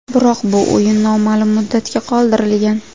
Biroq bu o‘yin noma’lum muddatga qoldirilgan.